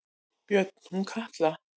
Björn: Hún Katla?